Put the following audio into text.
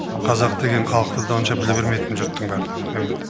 қазақ деген халықты да онша біле бермейтін жұрттың барлығы өмірде